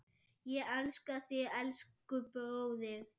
Ég elska þig, elsku bróðir.